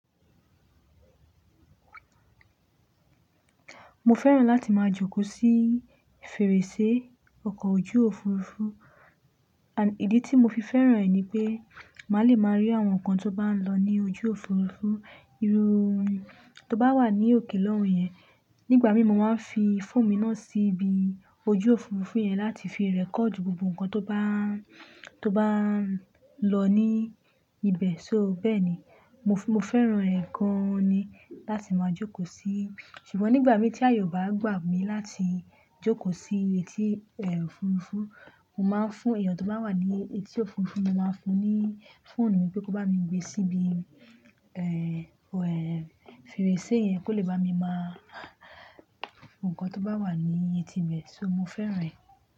Mo fẹ́ràn láti máa jókòó sí fèrèsé ọkọ̀ ojú Òfurufú and ìdí tí mo fi fẹ́ràn ẹ̀ ni pé màá le máa rí àwọn nǹkan tó bá ń lọ ní ojú Òfurufú. Irú tó bá wà ní òkè lọ́hùn yẹn, nígbà mí mo máa ń fi fóònù mi náà síbi ojú Òfurufú yẹn láti fi record gbogbo nǹkan tó bá, tó bá lọ ní ibẹ̀. So bẹ́ẹ̀ ni, mo, mo fẹ́ràn ẹ̀ gan ni láti máa jókòó sí. Ṣùgbọ́n nígbà mí tí aye bá gbà mí láti jókòó sí etí ẹ́ òfurufú, mo máa ń fún èèyàn tó bá wà ní etí òfurufú, mo máa ń fún un ní fóònù mi pé kó bá mi gbé síbi, ẹ́, wẹ́, fèrèsé yẹn kó lè bá mi máa àwọn nǹkan tó bá wà ní etí ibẹ̀. So mo fẹ́ràn ẹ̀